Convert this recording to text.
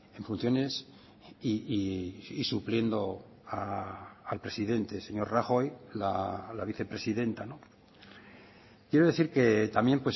en funciones y supliendo al presidente señor rajoy la vicepresidenta quiero decir que también